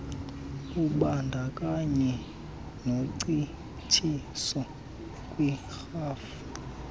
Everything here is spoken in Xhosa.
lubandakanye noncitshiso kwiirhafu